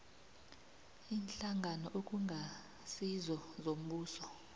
iinhlangano okungasizo zombuso